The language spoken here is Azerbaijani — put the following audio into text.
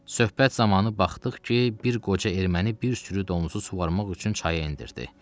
Söhbət zamanı baxdıq ki, bir qoca erməni bir sürü donuzu suvarmmaq üçün çaya endirdi.